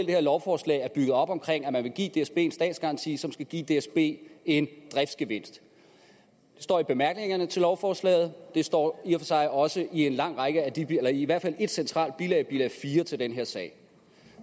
det her lovforslag er bygget op omkring at man vil give dsb en statsgaranti som skal give dsb en driftsgevinst det står i bemærkningerne til lovforslaget og det står i og for sig også i i hvert fald et centralt bilag bilag fire til den her sag